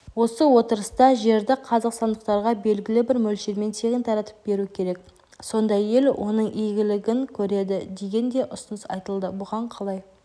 осы отырыста жерді қазақстандықтарға белгілі бір мөлшермен тегін таратып беру керек сондай ел оның игілігін көреді деген де ұсыныс айтылды бұған қалай